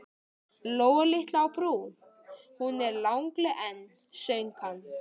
Lóa litla á Brú, hún er lagleg enn, söng hann.